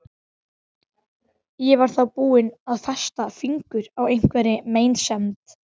Ég var þá búin að festa fingur á einhverri meinsemd.